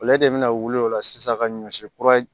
Ale de bɛna wuli o la sisan ka ɲɔ si kura